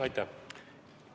Aitäh!